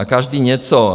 A každý něco.